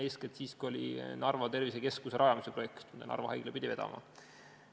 Eeskätt siis, kui oli Narva tervisekeskuse rajamise projekt, mida Narva haigla pidi vedama.